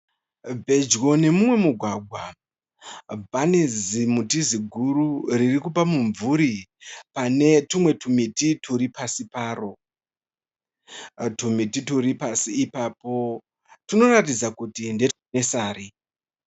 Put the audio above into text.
Pedyo nemumwe mugwagwa pane zimuti ziguru ririkupa mumvuri pane tumwe tumiti twuri pasi paro. Tumiti twuri pasi ipapo twunoratidza kuti ndetwe (nursery).